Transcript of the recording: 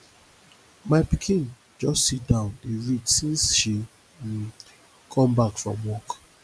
my pikin just sit down dey read since she um come back from work